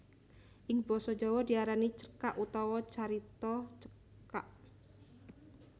Ing basa Jawa diarani cerkak utawa carita cekak